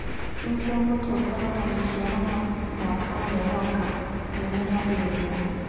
Nĩguo mũtĩ ũkorũo na maciaro ma mwaka ũrĩa ũroka, nĩ ũmenyagĩrĩrũo.